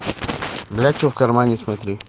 бля чё в кармане смотри